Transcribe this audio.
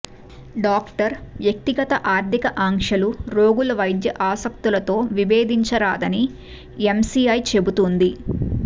doctor వ్యక్తిగత ఆర్థిక ఆకాంక్షలు రోగుల వైద్య ఆసక్తులతో విబేధించరా దని ఎమ్సిఐ చెబుతోంది